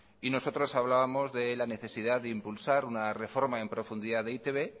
y nosotros hablábamos de la necesidad de impulsar una reforma en profundidad de e i te be